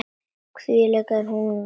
Því hún veit það.